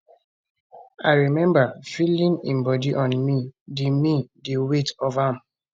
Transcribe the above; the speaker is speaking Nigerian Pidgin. i remember feeling im body on me di me di weight of am